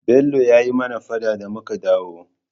Bello ya yi mana faɗa da muka dawo.